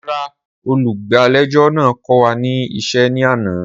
Rara, olugbalejo naa ko wa ni iṣẹ ni ana.